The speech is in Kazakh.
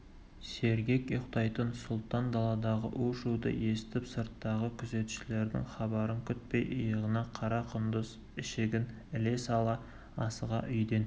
сергек ұйықтайтын сұлтан даладағы у-шуды естіп сырттағы күзетшілердің хабарын күтпей иығына қара құндыз ішігін іле сала асыға үйден